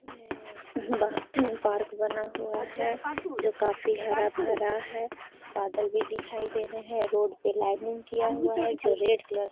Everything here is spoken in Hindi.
और ये पार्क बना हुआ है जो काफी हरा भरा है बादल भी दिखाई दे रहे है रोड पे लाइनिंग किया हुआ है जो रेड कलर --